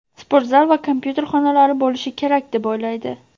sportzal va kompyuter xonalari bo‘lishi kerak deb o‘ylaydi.